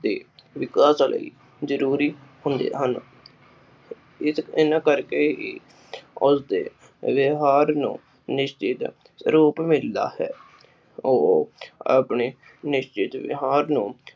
ਵਿਕਾਸ ਲਈ ਜਰੂਰੀ ਹੁੰਦੇ ਹਨ ਇਸ ਇਹਨਾਂ ਕਰਕੇ ਹੀ ਉਸਦੇ ਵਿਵਹਾਰ ਨੂੰ ਨਿਸਚਿਤ ਰੂਪ ਮਿਲਦਾ ਹੈ ਆਪਣੇ ਨਿਸ਼ਚਿਤ ਵਿਵਹਾਰ ਨੂੰ